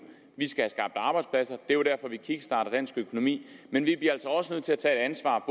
vi skal have skabt arbejdspladser og det er derfor vi kickstarter dansk økonomi men vi bliver altså også nødt til at tage et ansvar